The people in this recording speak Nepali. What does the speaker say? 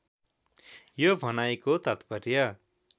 यो भनाइको तात्पर्य